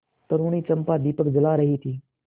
तरूणी चंपा दीपक जला रही थी